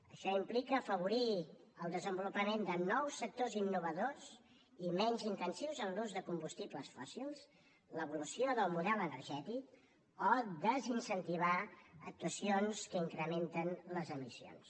això implica afavorir el desenvolupament de nous sectors innovadors i menys intensius en l’ús de combustibles fòssils l’evolució del model energètic o desincentivar actuacions que incrementen les emissions